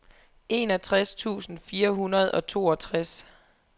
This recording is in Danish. enogtres tusind fire hundrede og toogtres